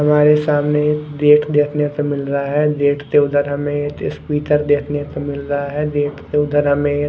हमारे सामने एक गेट देखने को मिल रहा है गेट के उधर हमे एक स्कूटर देखने को मिल रहा है गेट के उधर हमे एक--